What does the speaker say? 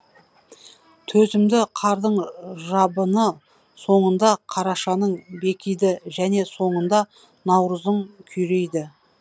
төзімді қардың жабыны соңында қарашаның бекиді және соңында наурыздың күйрейді